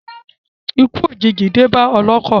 Ikú òjìji dé bá ọlọ́kọ̀.